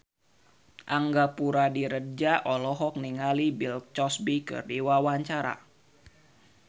Angga Puradiredja olohok ningali Bill Cosby keur diwawancara